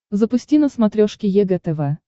запусти на смотрешке егэ тв